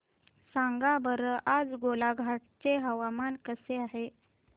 सांगा बरं आज गोलाघाट चे हवामान कसे आहे